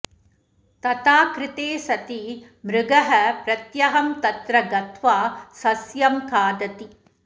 तथा कृते सति मृगः प्रत्यहं तत्र गत्वा सस्यं खादति